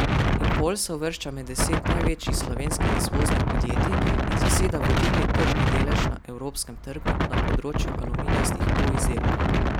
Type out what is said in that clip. Impol se uvršča med deset največjih slovenskih izvoznih podjetij in zaseda vodilni tržni delež na evropskem trgu na področju aluminijastih polizdelkov.